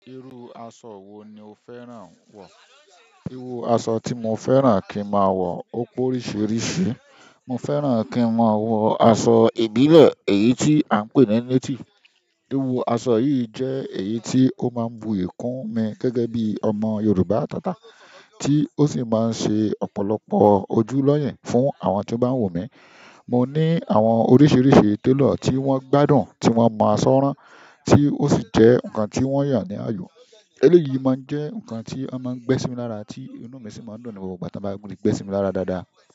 Iru aṣọ wo ni o fẹ́ràn púpọ̀ ju irú aṣọ tí mo fẹ́ràn kí n máa wọ̀ ó pé oríṣiríṣi. Mo fẹ́ràn kí n máa wọ aṣọ ìbílẹ̀ èyí tí à ń pè ní native. Iru aṣọ yi je èyí ti o ma bu iyi kun mi gẹ́gẹ́ bi ọmọ yorùbá atata, ti o si ma n se ọ̀pọ̀lọpọ̀ ojú loye fún àwọn to ba wunmi. Mo ní àwọn oríṣiríṣi tailor tí wọ́n gbádùn tí wọ́n máa aṣọ ran, tí ó sì jẹ́ ǹkan tí wọ́n yàn ní àyò. Eleyìí máa ń jẹ́ ǹkan tí won máa ń gbé sími lára àti inú mi sì máa ń dùn ní gbogbo ìgbà tí wọ́n bá ri gbé sími lára dáadáa.